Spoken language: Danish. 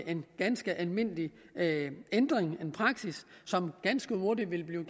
en ganske almindelig ændring en ny praksis som ganske hurtigt vil blive